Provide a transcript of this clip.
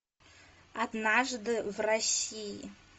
однажды в россии